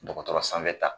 Dɔgɔtɔrɔ sanfɛ ta